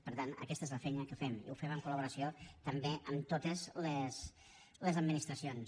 per tant aquesta és la feina que fem i ho fem en col·laboració també amb totes les administracions